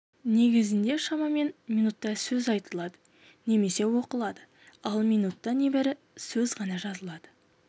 негізінде шамамен минутта сөз айтылады немесе оқылады ал минутта небәрі сөз ғана жазылады